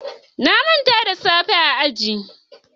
na Manta da safa na a aji.